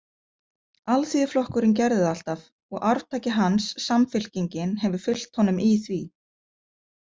Alþýðuflokkurinn gerði það alltaf og arftaki hans, Samfylkingin, hefur fylgt honum í því.